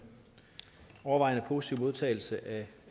overvejende positive modtagelse af